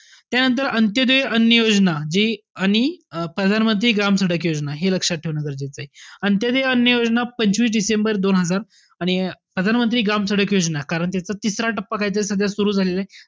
त्यानंतर अंत्योदय अन्य योजना जी आणि अं प्रधानमंत्री ग्राम सडक योजना, हे लक्षात ठेवणं गरजेचंय. अंत्योदय अन्य योजना पंचवीस डिसेंबर दोन हजार आणि प्रधानमंत्री ग्राम सडक योजना, कारण त्याच्या तिसरा टप्पा काहीतरी सध्या सुरु झालेला आहे.